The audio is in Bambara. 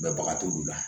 Mɛbaga t'olu la